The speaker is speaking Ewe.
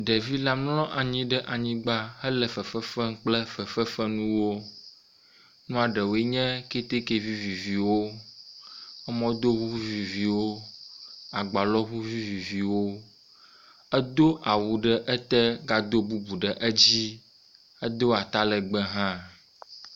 Ɖevi la mlɔ anyi ɖe anyigba hele fefe fem kple fefefenuwo. Nua ɖewoe nye keteke viviviwo, mɔdoŋu viviviwo, agbalɔŋu viviviwo. Edo awu ɖe ete gado bubu ɖe edzi, edo atalegbẽ hã.